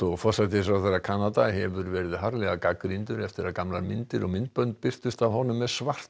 forsætisráðherra Kanada hefur verið harðlega gagnrýndur eftir að gamlar myndir og myndbönd birtust af honum með